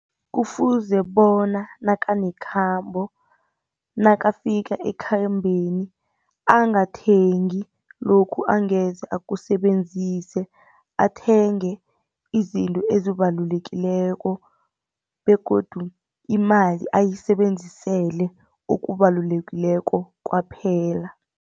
Kufuze bona nakanekhambo, nakafika ekhambeni angathengi lokhu angeze akusebenzise athenge izinto ezibalulekileko begodu imali ayisebenzisele okubalulekileko kwaphela.